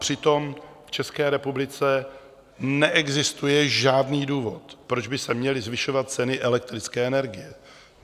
Přitom v České republice neexistuje žádný důvod, proč by se měly zvyšovat ceny elektrické energie.